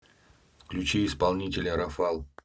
включи исполнителя рафал